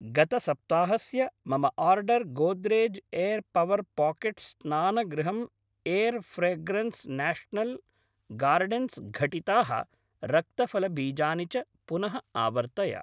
गतसप्ताहस्य मम order Godrej air power pocket स्नानगृहम् एर् फ्रेग्रन्स् नाशनल् गार्डेन्स् घटिताः रक्तफलबीजानि च पुनः आवर्तय।